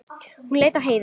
Hún leit á Heiðu.